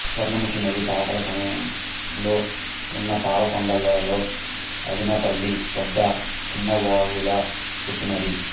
స్వర్ణముఖి నది పాకాల సమాంలో ఉన్న పాలకొండ లలో ఆదినాపల్లి వద్ద చిన్నవాగులా పుట్టినది